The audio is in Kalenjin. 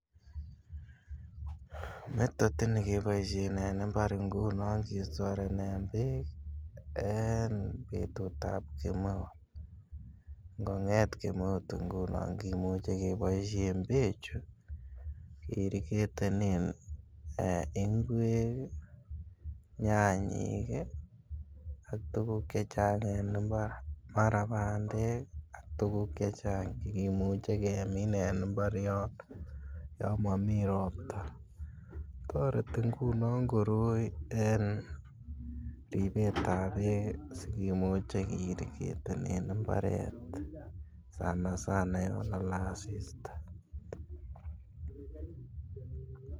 Method ini keboishen en imbar ngunon kistorenen beek en betut ab kemeut ngo nget kemeut ngunon kimuche keboishen bechu ke irrigetenen ee ngwek ii, nyanyik ii ak tuguk chechang en imbar mara bandek ak tuguk chechang chekimuche kemin en imbar yono yon momii ropta. Toreti ngunon koroi en ripetab beek sikimuche ke irrigetenen imbaret sana sana yon kolee asista .